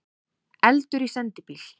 Eldur í sendibíl